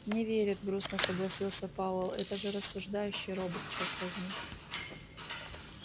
не верит грустно согласился пауэлл это же рассуждающий робот чёрт возьми